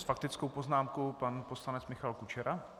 S faktickou poznámkou pan poslanec Michal Kučera.